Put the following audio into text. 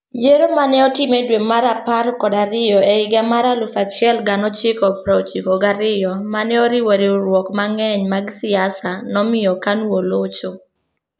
Yiero ma ne otim e dwe mar apar kod ariyo e higa mar 1992 ma ne oriwo riwruoge mang'eny mag siasa, nomiyo KANU olocho.